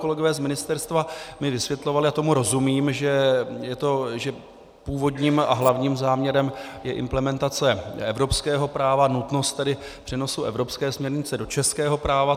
Kolegové z ministerstva mi vysvětlovali, a tomu rozumím, že původním a hlavním záměrem je implementace evropského práva, nutnost tedy přenosu evropské směrnice do českého práva.